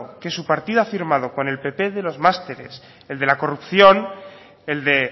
que su partido ha firmado con el pp de los másteres el de la corrupción el de